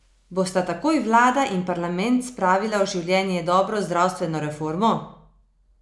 Bosta takoj vlada in parlament spravila v življenje dobro zdravstveno reformo?